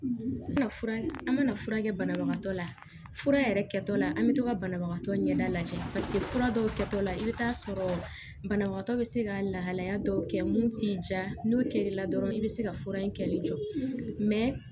An mana fura kɛ banabagatɔ la fura yɛrɛ kɛtɔla an bɛ to ka banabagatɔ ɲɛda lajɛ paseke fura dɔw kɛtɔ la i bɛ taa sɔrɔ banabagatɔ bɛ se ka lahalaya dɔw kɛ mun t'i ja n'o kiri la dɔrɔn i bɛ se ka fura in kɛli jɔ